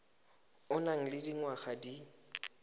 o nang le dingwaga di